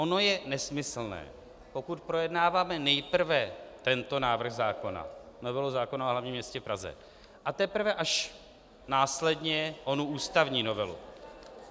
Ono je nesmyslné, pokud projednáváme nejprve tento návrh zákona, novelu zákona o hlavním městě Praze, a teprve až následně onu ústavní novelu.